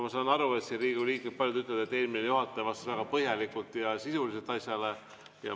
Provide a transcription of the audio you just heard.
Ma saan aru, et siin paljud Riigikogu liikmed ütlevad, et eelmine juhataja vastas väga põhjalikult ja sisuliselt.